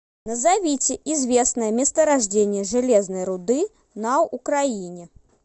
назовите известное месторождение железной руды на украине